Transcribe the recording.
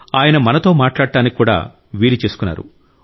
ఆయన మనతో మాట్లాడటానికి కూడా వీలు చేసుకున్నారు